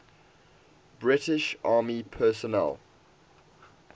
british army personnel